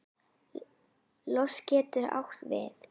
Lost getur átt við